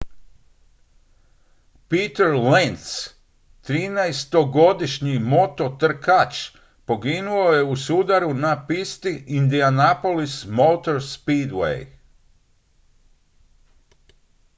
peter lenz trinaestogodišnji mototrkač poginuo je u sudaru na pisti indianapolis motor speedway